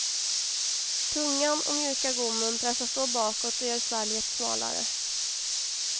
Tungan och mjuka gommen pressas då bakåt och gör svalget smalare.